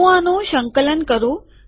હું આનું સંકલન કરું